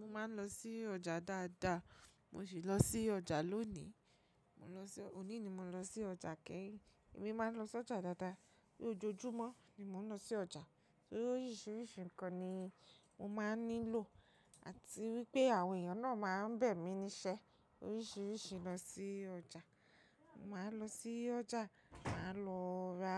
Mó ma ń lọ sí ọjà dáadáa, mo sì lọ sí ọjà lónìí. Mo ń lọ sí, òní ni mo lọ sí ọjà keyìn, èmi má ń lọ sí ọjà dáadáa. Bí ojojúmọ́ ni mò ń lọ sí ọjà, torí oríṣiríṣi nǹkan ni mo má ń nílò, àti wípé àwọn èèyàn náà má ń bẹ̀ mí ní ṣẹ́ oríṣiríṣi lọ sí ọjà. Mo má ń lọ sí ọjà, màá lọ ra